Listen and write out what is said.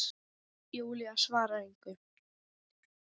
Júlía svarar engu.